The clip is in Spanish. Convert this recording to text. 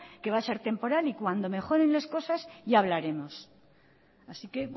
que va a ser temporal y cuando mejoren las cosas ya hablaremos así que